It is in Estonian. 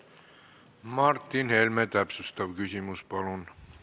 Martin Helme, täpsustav küsimus, palun!